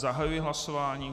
Zahajuji hlasování.